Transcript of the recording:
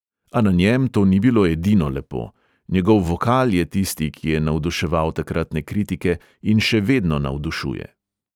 A na njem to ni bilo edino lepo; njegov vokal je tisti, ki je navduševal takratne kritike, in še vedno navdušuje.